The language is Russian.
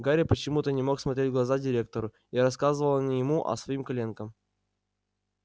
гарри почему-то не мог смотреть в глаза директору и рассказывал не ему а своим коленкам